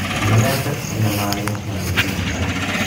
Nyonete ũnyamario na maitho makwa